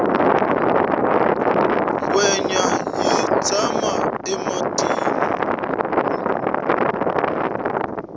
ngwenya yi tshama ematini